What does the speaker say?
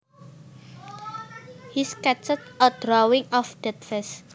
He sketched a drawing of that vase